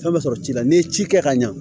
Fɛn bɛ sɔrɔ ci la n'i ye ci kɛ ka ɲa